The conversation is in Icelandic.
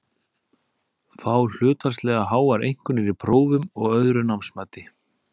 Fá hlutfallslega háar einkunnir í prófum og öðru námsmati.